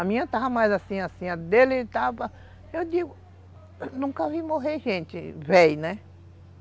A minha estava mais assim, assim, a dele estava, eu digo, nunca vi morrer gente velha, né?